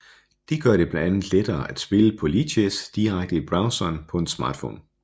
Det gør det blandt andet lettere at spille på Lichess direkte i browseren på en smartphone